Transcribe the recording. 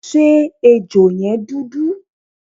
Ṣé ejò yẹn dúdú?